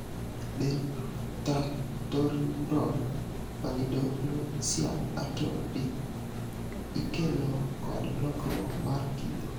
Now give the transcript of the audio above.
Dentatorubral pallidoluysian atrophy ikelo kod lokruok mar kido.